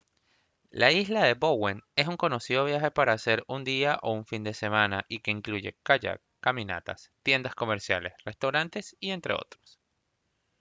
la isla de bowen es un conocido viaje para hacer en un día o en un fin de semana y que incluye kayak caminatas tiendas comerciales restaurantes y entre otros